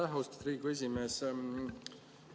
Aitäh, austatud Riigikogu esimees!